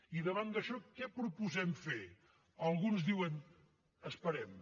i davant d’això què proposem fer alguns diuen esperem